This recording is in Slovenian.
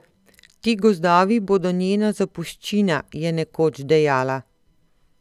Ti gozdovi bodo njena zapuščina, je nekoč dejala.